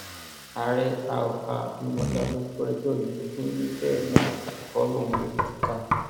ààrẹ àọ abimodá ló gbọ ẹjọ yìí ó ní bẹẹ náà kọ lòun yóò tú u ká